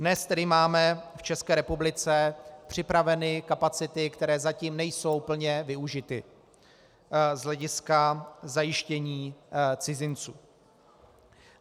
Dnes tedy máme v České republice připraveny kapacity, které zatím nejsou plně využity z hlediska zajištění cizinců.